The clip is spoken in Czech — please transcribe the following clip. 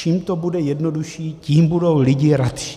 Čím to bude jednodušší, tím budou lidé radši.